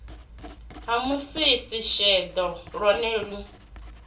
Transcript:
na musisi sheḓo ḽone ḽi